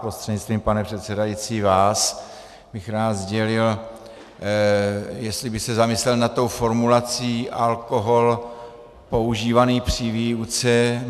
Prostřednictvím, pane předsedající, vás bych rád sdělil, jestli by se zamyslel nad tou formulací alkohol používaný při výuce.